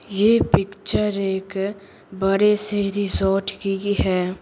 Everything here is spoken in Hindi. ये पिक्चर एक बड़े से रिजॉर्ट की है।